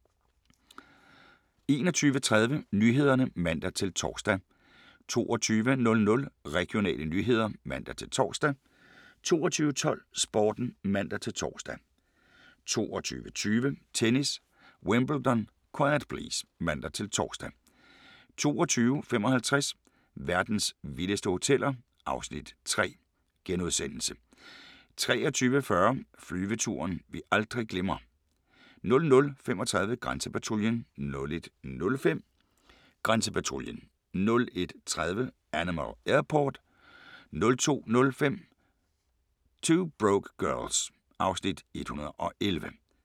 21:30: Nyhederne (man-tor) 22:00: Regionale nyheder (man-tor) 22:12: Sporten (man-tor) 22:20: Tennis: Wimbledon - quiet please! (man-tor) 22:55: Verdens vildeste hoteller (Afs. 3)* 23:40: Flyveturen vi aldrig glemmer 00:35: Grænsepatruljen 01:05: Grænsepatruljen 01:30: Animal Airport 02:05: 2 Broke Girls (Afs. 111)